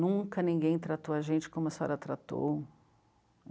Nunca ninguém tratou a gente como a senhora tratou.